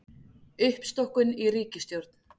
Uppstokkun í ríkisstjórn